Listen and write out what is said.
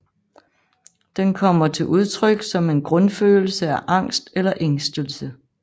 Den kommer til udtryk som en grundfølelse af angst eller ængstelse